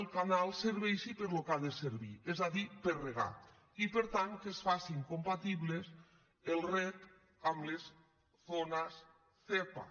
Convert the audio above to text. el canal serveixi per al que ha de servir és a dir per a regar i per tant que es faci compatibles el reg amb les zones zepa